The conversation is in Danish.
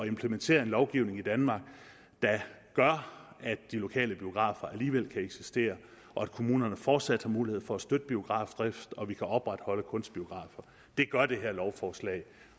implementere en lovgivning i danmark der gør at de lokale biografer alligevel kan eksistere og at kommunerne fortsat har mulighed for at støtte biografdrift og at vi kan opretholde kunstbiografer det gør det her lovforslag